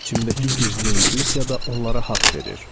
İçimdəki gizli intuisiya da onlara haqq verir.